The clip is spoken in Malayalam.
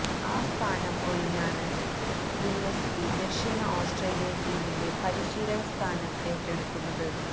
ആ സ്ഥാനം ഒഴിഞ്ഞാണ് ഗില്ലസ്പി ദക്ഷിണ ഓസ്ട്രേലിയന് ടീമിന്റെ പരിശീലകസ്ഥാനം ഏറ്റെടുക്കുന്നത്